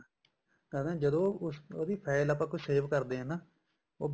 ਜਦੋਂ ਕੋਈ file ਆਪਾਂ ਉਹਦੀ save ਕਰਦੇ ਹਾਂ ਉਹ